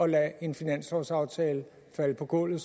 lade en finanslovsaftale falde på gulvet